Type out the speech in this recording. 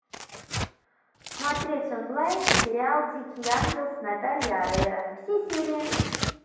смотреть онлайн сериал дикий ангел с наталией орейро все серии